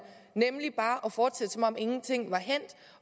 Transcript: nemlig bare at fortsætte som om ingenting er hændt